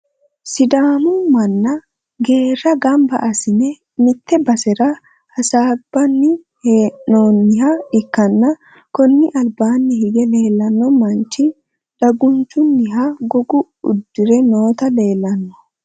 sidaamu manna geerra gamba assine mitte basera hasaambanni hee'noonniha ikkanna, kuni albaanni hige leelanno manchi dagunchunniha goga uddire noota leelanno.